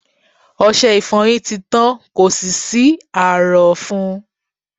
Ọṣe ìfọyín ti tán, kò sì sí ààrọ̀ fún un..